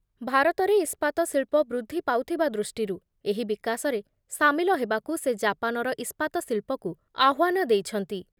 ଭାରତରେ ଇସ୍ପାତ ଶିଳ୍ପ ବୃଦ୍ଧି ପାଉଥିବା ଦୃଷ୍ଟିରୁ ଏହି ବିକାଶରେ ସାମିଲ ହେବାକୁ ସେ ଜାପାନର ଇସ୍ପାତ ଶିଳ୍ପକୁ ଆହ୍ବାନ ଦେଇଛନ୍ତି ।